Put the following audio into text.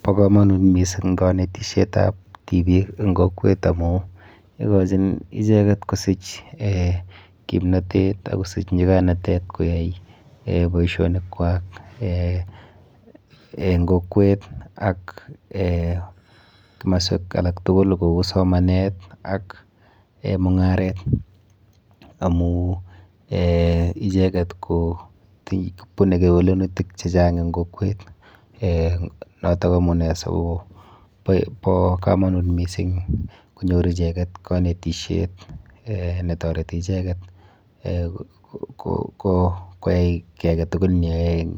Bo komonut mising kanetishetap tipiik eng kokwet amu ikochin icheket kosich eh kimnatet ak kosich nyikanatet koyai eh boisionikwa eh eng kokwet ak eh kimoswek alak tukul kou somanet ak mung'aret amu eh icheket kobune kewelenutik chechang eng kokwet eh noto amune sikobo komonut mising konyor icheket kanetishet eh netoreti icheket koyai ki aketukul neyoe eng